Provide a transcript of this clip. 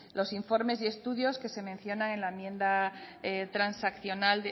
los informes y estudios que se mencionan en la enmienda transaccional